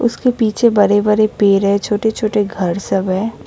उसके पीछे बड़े बड़े पेड़ है छोटे छोटे घर सब है ये--